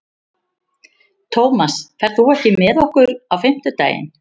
Tómas, ferð þú með okkur á fimmtudaginn?